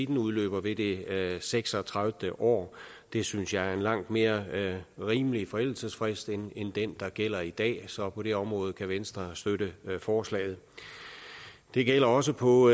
den udløber ved det seks og tredive år det synes jeg er en langt mere rimelig forældelsesfrist end den der gælder i dag så på det område kan venstre støtte forslaget det gælder også på